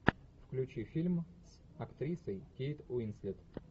включи фильм с актрисой кейт уинслет